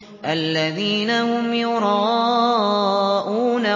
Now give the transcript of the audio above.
الَّذِينَ هُمْ يُرَاءُونَ